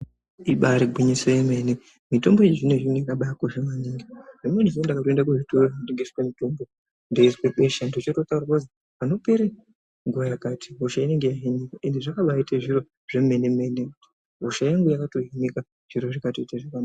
Ibairi gwinyiso ye mene mitombo yechi zvino zvino yakabai kosha maningi rimweni zuva ndakaenda ku zvitoro zvino tengeswe mutombo ndeizwa hosha ndochoto taurirwa kuzi pano pera nguva yakati hosha inenge yei hinika izvi zvino baite zviro zvemene mene hosha yangu yakato hinika zviro zvikaita zvakanaka.